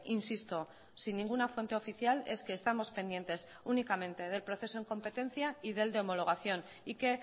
insisto sin ninguna fuente oficial es que estamos pendientes únicamente del proceso en competencia y del de homologación y que